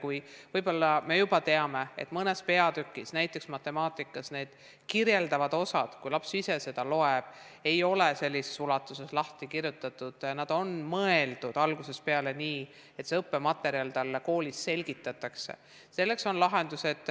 Kui me teame, et näiteks matemaatikaõpiku kirjeldavad osad, mida laps ise loeb, ei ole sellises ulatuses lahti kirjutatud, sest nad on mõeldud algusest peale nii, et seda õppematerjali talle koolis selgitatakse, siis selleks on lahendused.